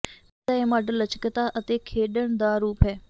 ਪਹਿਰਾਵੇ ਦਾ ਇਹ ਮਾਡਲ ਲਚਕਤਾ ਅਤੇ ਖੇਡਣ ਦਾ ਰੂਪ ਹੈ